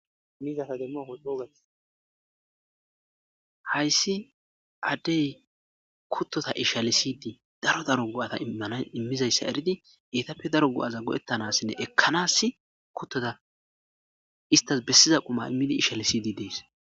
Haysi adey kutota i asa halisidi des isitappe daro imizaysa eridi